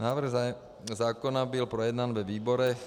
Návrh zákona byl projednán ve výborech.